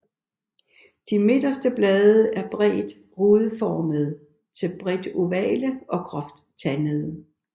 De midterste blade er bredt rudeformede til bredt ovale og groft tandede